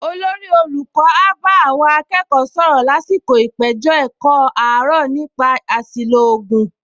Olórí olùkọ́ á bá àwọn akẹ́kọ̀ọ sọ̀rọ̀ lásìkò ìpèjọ-ẹ̀kọ́ àárọ̀ nípa àṣìlò ògùn